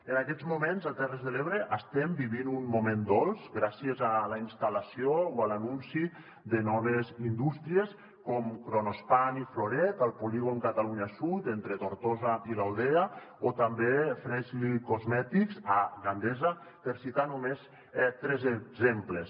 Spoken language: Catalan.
en aquests moments a terres de l’ebre estem vivint un moment dolç gràcies a la instal·lació o a l’anunci de noves indústries com kronospan i florette al polígon catalunya sud entre tortosa i l’aldea o també freshly cosmetics a gandesa per citar ne només tres exemples